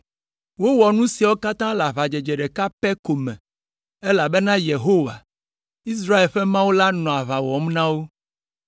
Wowɔ nu siawo katã le aʋadzedze ɖeka pɛ ko me, elabena Yehowa, Israel ƒe Mawu la nɔ aʋa wɔm na wo.